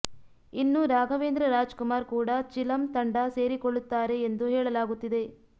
ಇನ್ನು ರಾಘವೇಂದ್ರ ರಾಜಕುಮಾರ್ ಕೂಡ ಚಿಲಂ ತಂಡ ಸೇರಿಕೊಳ್ಳತ್ತಾರೆ ಎಂದು ಹೇಳಲಾಗುತ್ತಿದೆ